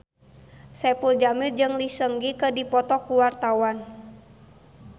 Saipul Jamil jeung Lee Seung Gi keur dipoto ku wartawan